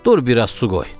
dur biraz su qoy.